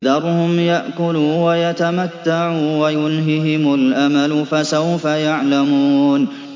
ذَرْهُمْ يَأْكُلُوا وَيَتَمَتَّعُوا وَيُلْهِهِمُ الْأَمَلُ ۖ فَسَوْفَ يَعْلَمُونَ